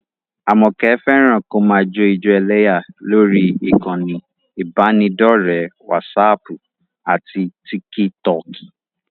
Àmọ̀kẹ́ fẹ́ràn kó máa jó ijó ẹlẹ́yà lórí ìkànnì ìbánidọ́ọ̀rẹ́ wásaaàpù àti tíkítọọ̀kì